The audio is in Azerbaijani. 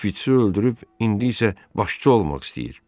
Şpiçi öldürüb indi isə başçı olmaq istəyir.